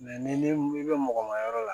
ni ne bɛ mɔgɔ ma yɔrɔ la